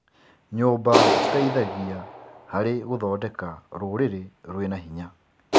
Nyũmba citeithagia harĩ gũthondeka rũrĩrĩ rwĩna hinya.